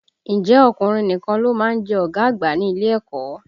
Ǹjẹ́ ọkùnrin nìkan ló má ń jẹ́ ọ̀gá àgbà ní ilé ẹ̀kọ́?